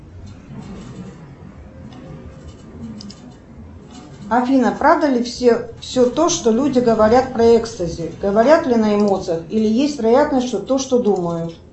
афина правда ли все то что люди говорят про экстази говорят ли на эмоциях или есть вероятность что то что думают